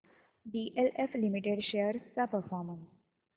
DLF limited shares चा performance